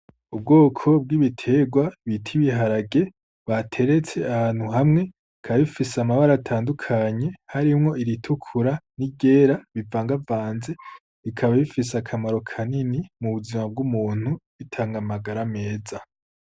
Ubwoko bw'ibiterwa bita ibiharage bateretse ahantu hamwe, bikaba bifise amabara atandukanye, harimwo iritukura n'iryera bivangavanze, bikaba bifise akamaro kanini mu buzima bw'umuntu bitanga amagara meza.